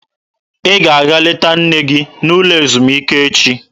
Ị ga-aga leta nne gị n'ụlọ ezumike echi!